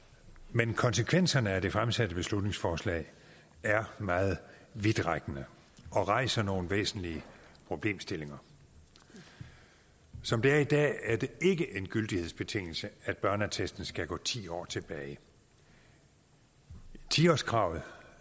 men konsekvenserne af det fremsatte beslutningsforslag er meget vidtrækkende og rejser nogle væsentlige problemstillinger som det er i dag er det ikke en gyldighedsbetingelse at børneattesten skal gå ti år tilbage ti årskravet